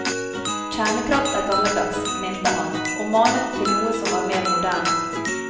Kjernekraft er gammeldags, mente han, og manet til noe som var mer moderne.